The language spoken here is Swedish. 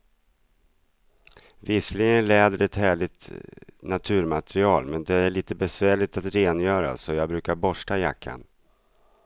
Visserligen är läder ett härligt naturmaterial, men det är lite besvärligt att rengöra, så jag brukar borsta jackan.